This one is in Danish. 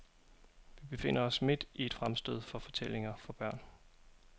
Vi befinder os midt i et fremstød for fortællinger for børn.